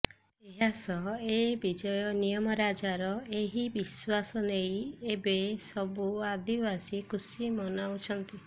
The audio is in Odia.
ଏହାସହ ଏ ବିଜୟ ନିୟମରାଜାର ଏହି ବିଶ୍ୱାସ ନେଇ ଏବେ ସବୁ ଆଦିବାସୀ ଖୁସି ମନାଇଛନ୍ତି